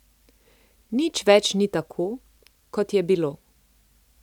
Nič več ni tako, kot je bilo.